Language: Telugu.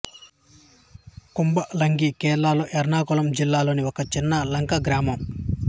కుంబలంగి కేరళలో ఎర్నాకులం జిల్లాలోని ఒక చిన్న లంక గ్రామం